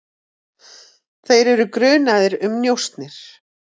Þeir eru grunaðir um njósnir.